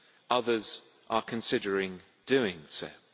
others are considering doing so.